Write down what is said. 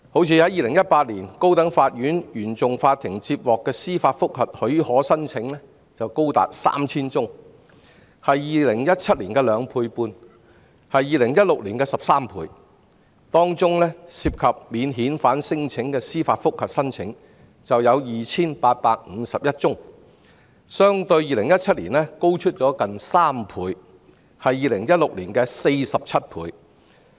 以2018年為例，高等法院原訟法庭接獲的司法覆核許可申請便高達 3,000 宗，是2017年的兩倍半 ，2016 年的13倍，當中涉及免遣返聲請的司法覆核申請便有 2,851 宗，相對2017年高出近2倍，是2016年的47倍。